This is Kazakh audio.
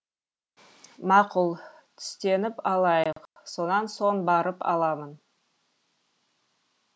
мақұл түстеніп алайық сонан соң барып аламын